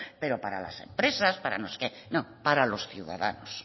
pero para las empresas para no sé qué no para los ciudadanos